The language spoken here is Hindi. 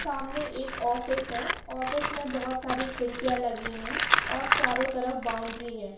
सामने एक ऑफिस है ऑफिस में बहुत सारी खिड़कियां लगी है और चारों तरफ बाउंड्री है।